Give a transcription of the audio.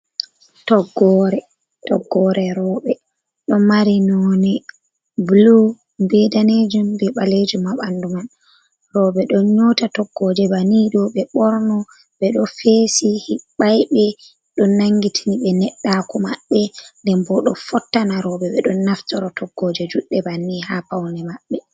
Toggore, toggore roɓe ɗon mari none bulu, be danejum, be ɓalejo ha ɓandu man, roɓe don nyota toggoje bani ɗo ɓe ɓorno ɓeɗo fesi hibɓai ɓe ɗon nangitini ɓe nedɗaku maɓɓe, nden bo ɗo fottana roɓe ɓe ɗon naftora toggoje juɗɗe bani ha paune maɓɓe.